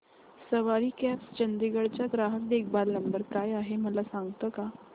सवारी cabs Chandigarh चा ग्राहक देखभाल नंबर काय आहे मला सांगता का